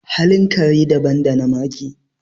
halin kare daban da na mage